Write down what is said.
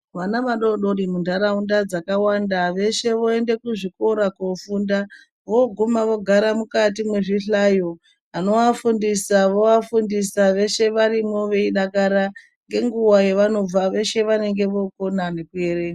Vana vadodori muntaraunda dzakahwanda, veshe voende kuzvikora koofunda. Voguma vogara mukati mwezvihlayo. Vanovafundisa vovafundisa ,veshe varimwo veidakara. Ngenguwa yevanobva ,veshe vanonga vokona nekuerenga .